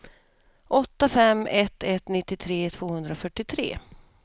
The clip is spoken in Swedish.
åtta fem ett ett nittiotre tvåhundrafyrtiotre